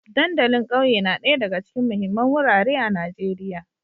Dandalin ƙauye na ɗaya daga cikin muhimman wurare a Najeriya